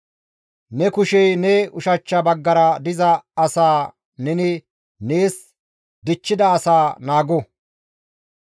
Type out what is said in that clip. Ne kushey ne ushachcha baggara diza asaa neni nees dichchida asa naago.